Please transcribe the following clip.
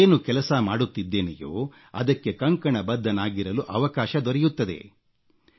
ನಾನು ಏನು ಕೆಲಸ ಮಾಡುತ್ತಿದ್ದೆನೆಯೋ ಅದಕ್ಕೆ ಕಂಕಣಬದ್ಧನಾಗಿರಲು ಅವಕಾಶ ದೊರೆಯುತ್ತದೆ